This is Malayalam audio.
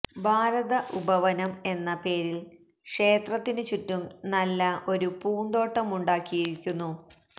ഭാരത ഉപവനം എന്ന പേരില് ക്ഷേത്രത്തിനു ചുറ്റും നല്ല ഒരു പൂന്തോട്ടമുണ്ടാക്കിയിരിക്കുന്നു